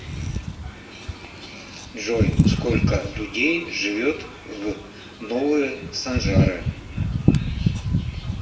джой сколько людей живет в новые санжары